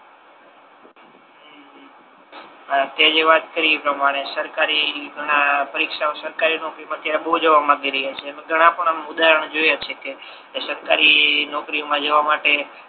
તેજે વાત કરી ઇ પ્રમાણે સરકારી ના પરીક્ષાઓ સરકારી નોકરીઓ પર અત્યરે બહુ જવા માંગી રહ્યા છે ઘણા પણ ઉદારણ જોયા છે કે જે સરકારી નોકરી મા જવા માટે